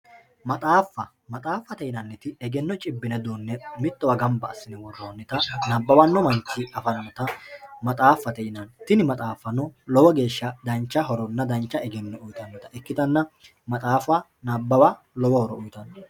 maxaaffa maxaaffate yinaniti egenno cibbine duunne mittowa worroonnita nabbawanno manchi afannota maxaaffate yinanni tini maxaaffano lowo geeshsha dancha horonna dancha eogenno uyiitannota ikkitanna maxaaffa nabbawa lowo horo uyiitanno.